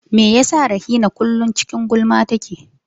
Me yasa Rahina kullum cikin gulma take?